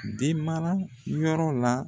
Den mara yɔrɔ la.